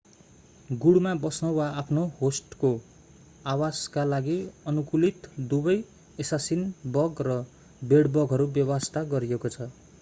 गुँडमा बस्न वा आफ्नो होस्टको आवासका लागि अनुकूलित दुबै एसासिन बग र बेड-बगहरू बेवास्ता गरिएको छ